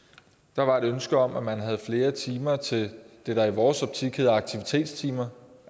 der var et ønske om at man havde flere timer til det der i vores optik var aktivitetstimer